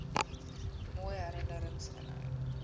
mooi herinnerings inhou